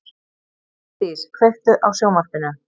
Geirdís, kveiktu á sjónvarpinu.